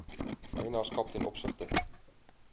eienaarskap ten opsigte